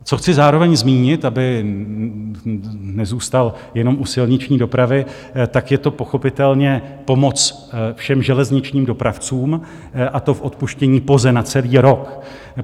Co chci zároveň zmínit, abych nezůstal jenom u silniční dopravy, tak je to pochopitelně pomoc všem železničním dopravcům, a to v odpuštění POZE na celý rok.